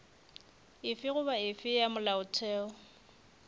efe goba efe ya molaotheo